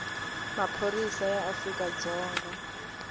maphorisa ya afrika dzonga kumbe